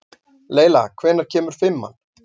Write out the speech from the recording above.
Leyla, hvenær kemur fimman?